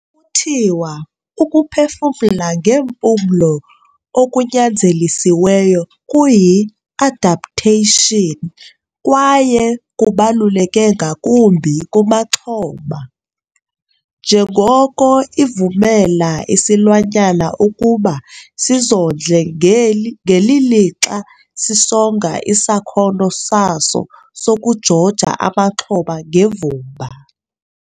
Kuthiwa ukuphefumla ngeempumlo okunyanzelisiweyo kuyi-adaptation kwaye kubaluleke ngakumbi kumaxhoma, njengoko ivumela isilwanyana ukuba sizondle ngeli ngeli lixa sisonga isakhono saso sokujoja amaxhoba ngevumba.